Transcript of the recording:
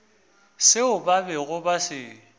seo ba bego ba se